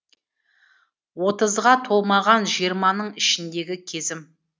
отызға толмаған жиырманың ішіндегі кезім